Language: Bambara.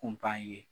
Kun bannen